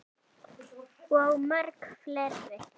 Og mörg fleiri.